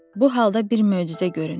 Bu halda bir möcüzə göründü.